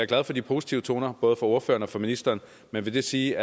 glad for de positive toner både fra ordføreren og fra ministeren vil det sige